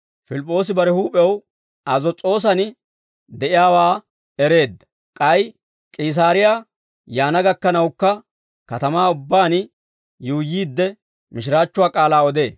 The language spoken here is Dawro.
Pilip'p'oosi bare huup'ew Azos's'oosan de'iyaawaa ereedda; k'ay K'iisaariyaa yaana gakkanawukka, katamaa ubbaan yuuyyiidde mishiraachchuwaa k'aalaa odee.